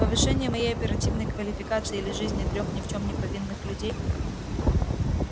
повышение моей оперативной квалификации или жизни трёх ни в чём не повинных людей